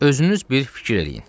Özünüz bir fikir eləyin.